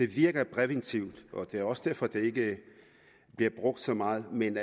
virker præventivt og det er også derfor det ikke bliver brugt så meget men